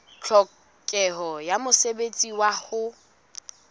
tlhokeho ya mosebetsi wa ho